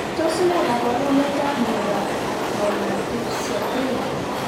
Tos ne kaborunoikab miondop achromatopsia 3?